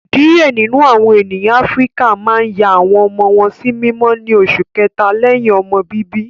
Diẹ ninu awọn ènìyàn Áfíríkà máa yà awọn ọmọ wọn si mimọ ní oṣu kẹta lẹyìn ọmọ bíbí